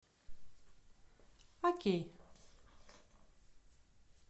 окей